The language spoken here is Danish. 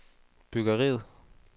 byggeriet